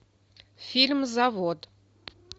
фильм завод